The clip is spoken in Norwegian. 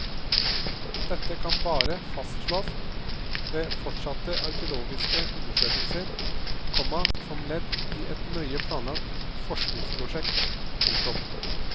Dette kan bare fastslås ved fortsatte arkeologiske undersøkelser, komma som ledd i et nøye planlagt forskningsprosjekt. punktum